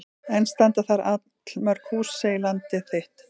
Enn standa þar allmörg hús segir Landið þitt.